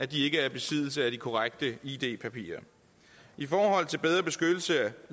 de ikke er i besiddelse af de korrekte id papirer i forhold til bedre beskyttelse af